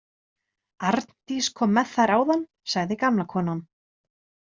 Arndís kom með þær áðan, sagði gamla konan.